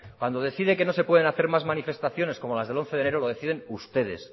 cuando decide que no se pueden hacer más manifestaciones como las de el once de enero lo deciden ustedes